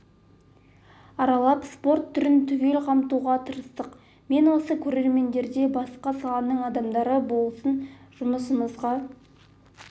аралап спорт түрін түгел қамтуға тырыстық мен осы көрермендер де басқа саланың адамдары болсын жұмысымызға